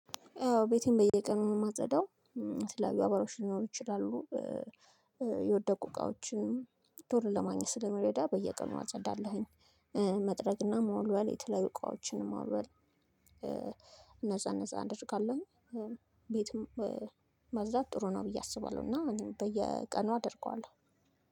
ያው ቤቴን በየቀኑ ነው የማጸዳው። ስለ አገባዎሽ ሊኖሩ ይችላሉ የወደቁ እቃዎችን ቶሎ ለማግኘት ስለሚረዳ በየቀኑ አጸዳለሁኝ። መጥረግና መወልወል የተለያዩ እቃዎችን ሞልወል እነዛ እነዛ አደርጋለሁኝ። ቤትም ማዛብ ጥሩ ነው ብዬ አስባለሁ እና በየቀኑ አደርገዋለሁ።